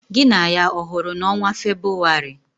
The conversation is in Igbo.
Gị na ya ọ hụrụ n'ọnwa Febụwarị?